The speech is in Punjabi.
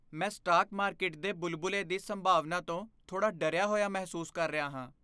ਮੈਂ ਸਟਾਕ ਮਾਰਕੀਟ ਦੇ ਬੁਲਬੁਲੇ ਦੀ ਸੰਭਾਵਨਾ ਤੋਂ ਥੋੜ੍ਹਾ ਡਰਿਆ ਹੋਇਆ ਮਹਿਸੂਸ ਕਰ ਰਿਹਾ ਹਾਂ।